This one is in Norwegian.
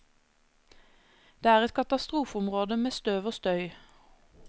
Det er et katastrofeområde med støv og støy.